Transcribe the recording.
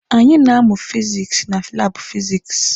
Anyị na-amụ fizikisi na laabụ fizikisi.